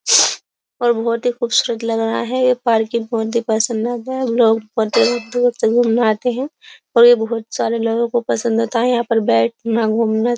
और बहुत ही खूबसूरत लग रहा है यह पार्किंग बहुत ही पसंद आता है लोग बहुत दूर से घूमने आते हैं और यह बहुत सारे लोगों को पसंद होता है यहां पर बैठना घूमना --